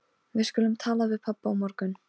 Ég kom hingað oft, þegar ég var yngri sagði hann.